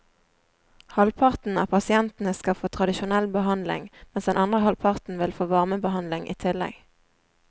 Halvparten av pasientene skal få tradisjonell behandling, mens den andre halvparten vil få varmebehandling i tillegg.